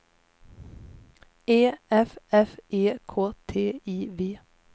E F F E K T I V